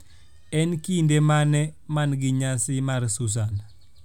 en kinde mane ma na gi nyasi mar sussan